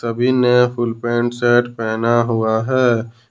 सभी ने full pant set पहना हुआ है।